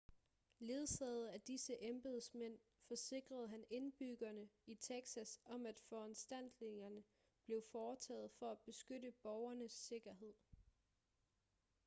ledsaget af disse embedsmænd forsikrede han indbyggerne i texas om at foranstaltninger blev foretaget for at beskytte borgernes sikkerhed